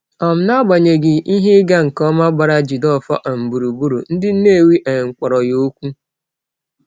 um N’agbanyeghị ihe ịga nke ọma gbara Jideofor um gburugburu, ndị Nnewi um kpọrọ ya okwu.